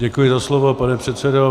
Děkuji za slovo, pane předsedo.